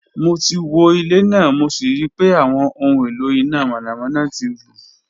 Mo ti wo ile naa mo si rii pe awọn ohun elo ina mọnamọna ti ru